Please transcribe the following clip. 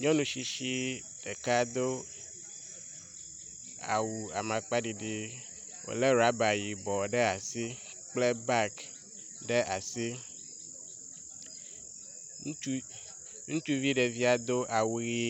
Nyɔnu tsitsi ɖeka do awu amakpaɖiɖi wo le ɖɔba yibɔ ɖe asi kple bagi ɖe asi. Ŋutsu ŋutsuvi ɖevia do awu ʋi.